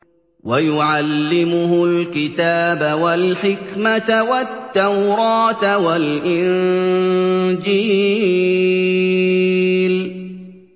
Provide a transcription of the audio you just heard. وَيُعَلِّمُهُ الْكِتَابَ وَالْحِكْمَةَ وَالتَّوْرَاةَ وَالْإِنجِيلَ